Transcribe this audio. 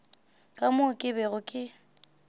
ka moo ke bego ke